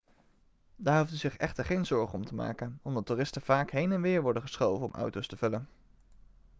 daar hoeft u zich echter geen zorgen om te maken omdat toeristen vaak heen en weer worden geschoven om auto's te vullen